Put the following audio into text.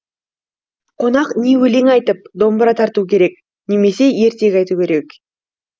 қонақ не өлең айтып домбыра тартуы керек немесе ертек айтуы керек